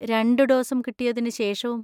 രണ്ട് ഡോസും കിട്ടിയതിന് ശേഷവും?